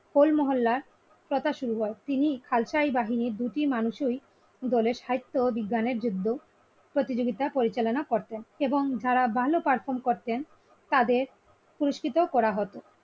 Whole মহল্লার কথা শুরু হয় তিনি খালসাই বাহিনীর দুটি মানুষ এই দলের সাহিত্যবিজ্ঞানের জন্য প্রতিযোগিতা পরিচালনা করতেন এবং যারা ভালো perform করতেন তাদের পুরস্কৃত করা হতো।